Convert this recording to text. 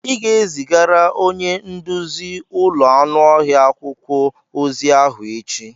Ị ga-ezigara onye nduzi ụlọ anụ ọhịa akwụkwọ ozi ahụ echi!